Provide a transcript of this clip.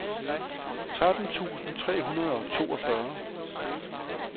tretten tusind tre hundrede og toogfyrre